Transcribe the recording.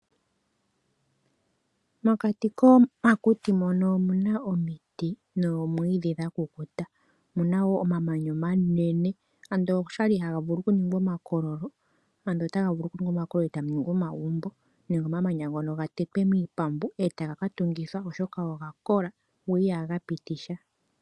Mokati komakuti mono omuna omiti noomwiidhi dha kukuta omuna wo omamanya omanene ando oshali haga vulu oku ningwa omakololo ando otaga vulu oku ningwa omakololo eta mu ningwa omagumbo nenge omamanya ngono ga tetwe miipambu eta ga ka tungithwa oshoka oga kola go ihaga pitisha.